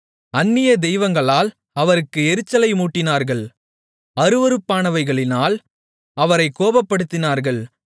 அந்நிய தெய்வங்களால் அவருக்கு எரிச்சலை மூட்டினார்கள் அருவருப்பானவைகளினால் அவரைக் கோபப்படுத்தினார்கள்